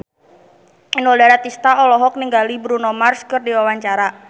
Inul Daratista olohok ningali Bruno Mars keur diwawancara